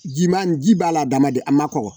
Ji man ji b'a la adamaden a ma kɔgɔ